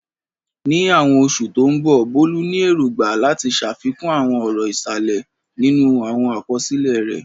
Ní àwọn oṣù tó ń bọ̀, Bolu ní èrògbà láti ṣàfikún àwọn ọ̀rọ̀ ìsàlẹ̀ nínú àwọn àkọsílẹ̀ rẹ̀.